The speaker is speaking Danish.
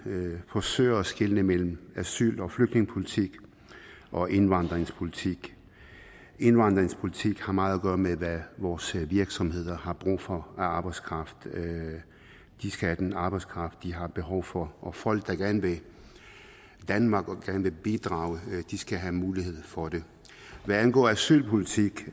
forsøger at skelne mellem asyl og flygtningepolitik og indvandringspolitik indvandringspolitik har meget at gøre med hvad vores virksomheder har brug for af arbejdskraft de skal have den arbejdskraft de har behov for og folk der gerne vil danmark og gerne vil bidrage skal have mulighed for det hvad angår asylpolitik